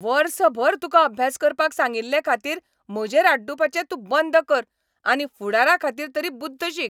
वर्सभर तुका अभ्यास करपाक सांगिल्लेखातीर म्हजेर आड्डूपाचे तूं बंद कर आनी फुडाराखातीर तरी बुद्द शीक.